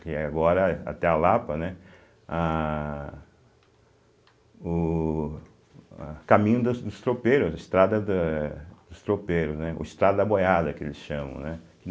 que é agora, até a Lapa, né, ah o eh caminho da dos tropeiros, a estrada da dos tropeiros, né, ou estrada da boiada, que eles chamam, né.